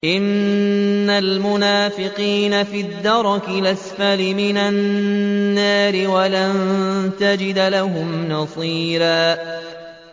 إِنَّ الْمُنَافِقِينَ فِي الدَّرْكِ الْأَسْفَلِ مِنَ النَّارِ وَلَن تَجِدَ لَهُمْ نَصِيرًا